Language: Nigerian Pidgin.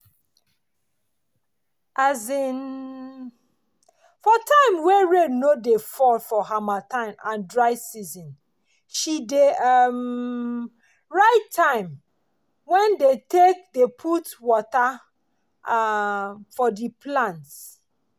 um for time wey rain no dey fall for harmattan and dry season she dey um write time wen dey take dey put wata um for di plants.